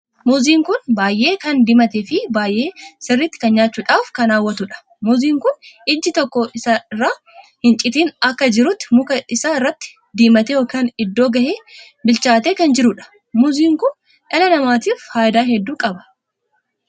Muuziin kun baay'ee kan diimatee Fi baay'ee sirriitti kan nyaachuudhaaf kan hawwatuudha. muuziin kun iji tokko osoo irraa hin citin akka jirutti muka isaa irratti diimatee ykn iddoo gahee/bilchaatee kan jiruudha. muuziin Kun dhala namaatiif faayidaa hedduu qaba.